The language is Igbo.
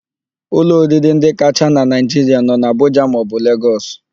Ụlọ oriri ndị kacha na Naịjiria nọ n'Abụja maọbụ Lagos.